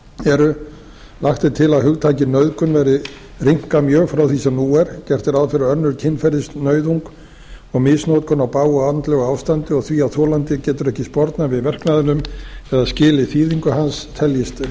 eru lagt er til að hugtakið nauðgun verði rýmkað mjög frá því sem nú er gert er ráð fyrir að önnur kynferðisnauðung og misnotkun á bágu andlegu ástandi og því að þolandinn getur ekki spornað við verknaðinum eða skilið þýðingu hans teljist